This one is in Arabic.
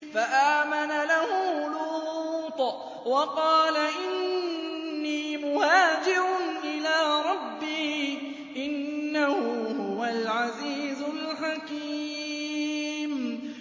۞ فَآمَنَ لَهُ لُوطٌ ۘ وَقَالَ إِنِّي مُهَاجِرٌ إِلَىٰ رَبِّي ۖ إِنَّهُ هُوَ الْعَزِيزُ الْحَكِيمُ